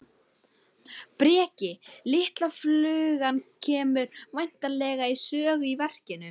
Breki: Litla flugan kemur væntanlega við sögu í, í verkinu?